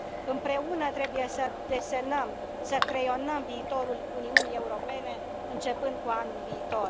Împreună trebuie să desenăm, să creionăm viitorul Uniunii Europene, începând cu anul viitor.